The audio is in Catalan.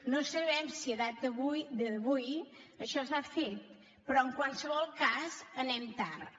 no sabem si a data d’avui això s’ha fet però en qualsevol cas anem tard